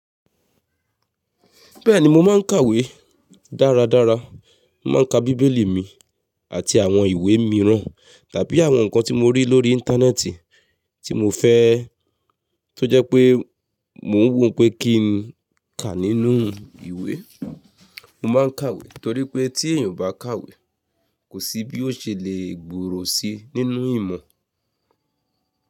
Bẹ́ẹ̀ni mo máa ń kàwé dáradára, mo máa ń ka bíbélì mi àti àwọn ìwé mìíràn tàbí àwọn nǹkan tí mo rí lórí Íńtánẹ́ẹ̀tì tí mo fẹ́ tó jẹ́ pé mò ń wòó pé kí n kà nínú ìwé. Mo máa ń kàwé torí pé tí èèyàn ò bá kàwé kò sí bí ó ṣe le gbòòrò síi nínú ìmọ̀